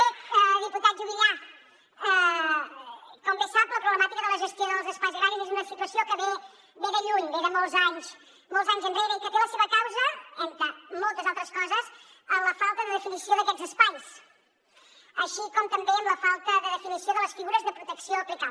bé diputat juvillà com bé sap la problemàtica de la gestió dels espais agraris és una situació que ve de lluny ve de molts anys enrere i que té la seva causa entre moltes altres coses en la falta de definició d’aquests espais així com també amb la falta de definició de les figures de protecció a aplicar